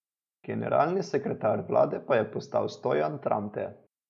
Generalni sekretar vlade pa je postal Stojan Tramte.